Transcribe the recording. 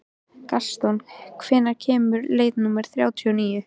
Gaston, hvenær kemur leið númer þrjátíu og níu?